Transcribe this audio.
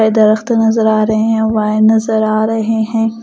दरख्त नज़र आ रहे हैं वायर नज़र आ रहे हैं ।